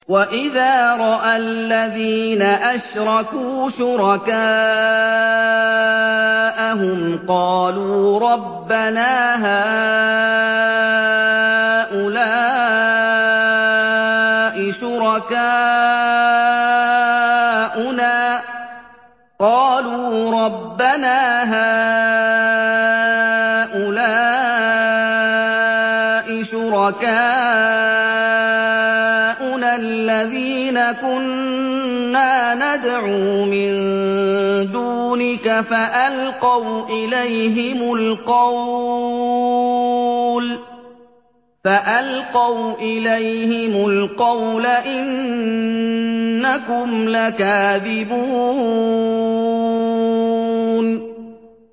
وَإِذَا رَأَى الَّذِينَ أَشْرَكُوا شُرَكَاءَهُمْ قَالُوا رَبَّنَا هَٰؤُلَاءِ شُرَكَاؤُنَا الَّذِينَ كُنَّا نَدْعُو مِن دُونِكَ ۖ فَأَلْقَوْا إِلَيْهِمُ الْقَوْلَ إِنَّكُمْ لَكَاذِبُونَ